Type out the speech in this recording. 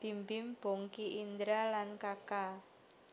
Bimbim Bongky Indra lan Kaka